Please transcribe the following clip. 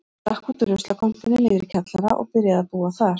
Stakk út úr ruslakompunni niðri í kjallara og byrjaði að búa þar.